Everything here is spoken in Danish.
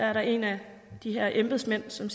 er der en af de her embedsmænd som